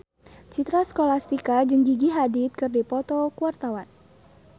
Citra Scholastika jeung Gigi Hadid keur dipoto ku wartawan